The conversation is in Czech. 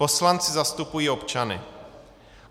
Poslanci zastupují občany.